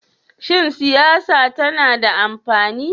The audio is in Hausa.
Shin siyasa tana da amfani?